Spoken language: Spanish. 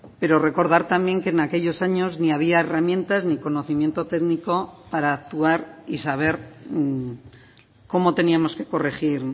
pero recordar también que en aquellos años ni había herramientas ni conocimiento técnico para actuar y saber cómo teníamos que corregir